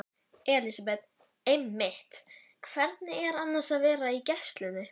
Elísabet: Einmitt, hvernig er annars að vera í gæslunni?